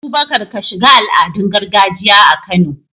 Abubakar, ka shiga al'adun gargajiya a Kano.